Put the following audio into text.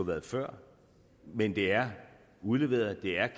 været før men det er udleveret det er